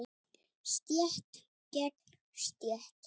Stétt gegn stétt.